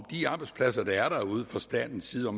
de arbejdspladser der er derude fra statens side